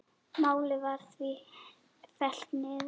Málið var því fellt niður.